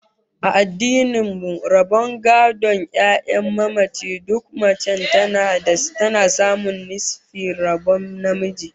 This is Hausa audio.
A addinin mu, rabon gadon 'ya'yan mamaci, duk mace tana samun nisfin rabon namiji